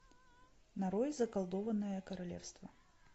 нарой заколдованное королевство